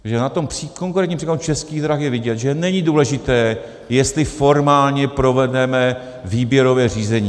Takže na tom konkrétním příkladu Českých drah je vidět, že není důležité, jestli formálně provedeme výběrové řízení.